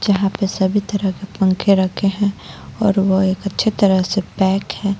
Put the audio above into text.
जहां पे सभी तरह के पंखे रखे हैं और वह एक अच्छी तरह से पैक हैं.